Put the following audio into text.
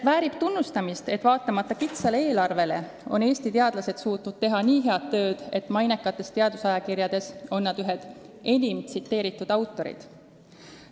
Väärib tunnustamist, et vaatamata väikesevõitu eelarvele on Eesti teadlased suutnud teha nii head tööd, et mainekates teadusajakirjades on nad ühed enim tsiteeritud autorid.